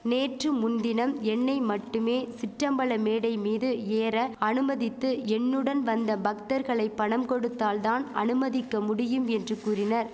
நேற்று முன்தினம் என்னை மட்டுமே சிற்றம்பல மேடை மீது ஏற அனுமதித்து என்னுடன் வந்த பக்தர்களை பணம் கொடுத்தால் தான் அனுமதிக்க முடியும் என்று கூறினர்